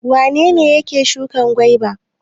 Wane ne yake shuka gwaiba?